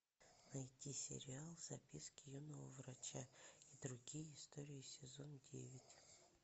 найти сериал записки юного врача и другие истории сезон девять